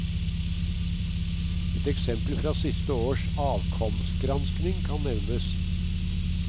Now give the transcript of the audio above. Et eksempel fra siste års avkomsgransking kan nevnes.